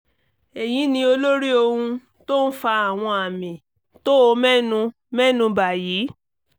èyí ni olórí ohun tó ń fa àwọn àmì tó o mẹ́nu mẹ́nu bà yìí